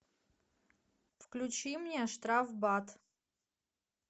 включи мне штрафбат